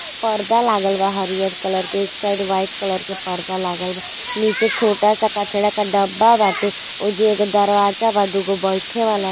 पर्दा लागल बा हरियल कलर के एक साइड व्हाइट कलर के पर्दा लागल बा। निचे छोटा सा कचरे का डब्बा बाटे। ओईजु एक दरवाजा बा। दुगो बइठे वाले --